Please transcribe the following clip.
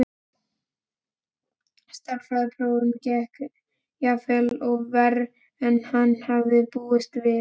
Stærðfræðiprófið gekk jafnvel verr en hann hafði búist við.